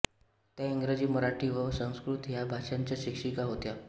त्या इंग्रजी मराठी व संस्कृत ह्या भाषांच्या शिक्षिका होत्या